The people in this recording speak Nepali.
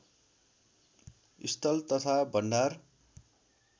स्थल तथा भण्डार